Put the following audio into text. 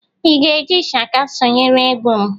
Ị ga-eji ishaka sonyere egwu m?